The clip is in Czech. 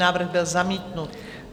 Návrh byl zamítnut.